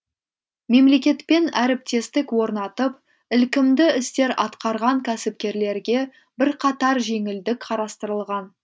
мемлекетпен әріптестік орнатып ілкімді істер атқарған кәсіпкерлерге бірқатар жеңілдік қарастырылған